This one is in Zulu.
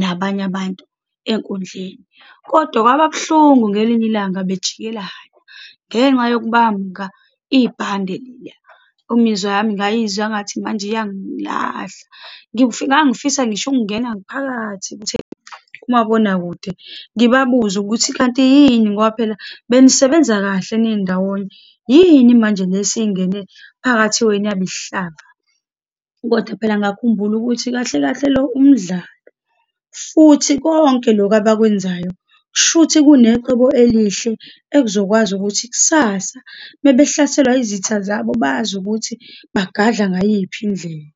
nabanye abantu enkundleni. Kodwa kwababuhlungu ngelinye ilanga bejikelana, ngenxa yokubanga ibhande leliya. Imizwa yami ngayizwa engathi manje iyangilahla, ngangifisa ngisho ukungena phakathi kumabonakude, ngibabuze ukuthi, kanti yini ngoba phela benisebenza kahle nindawonye, yini manje le esingene phakathi kwenu yaba isihlava. Kodwa phela ngakhumbula ukuthi kahle kahle lo umdlalo, futhi konke lokhu abakwenzayo kusho ukuthi kunecebo elihle ek'zokwazi ukuthi kusasa uma behlaselwa izitha zabo, bazi ukuthi bagadla ngayiphi indlela.